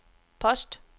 post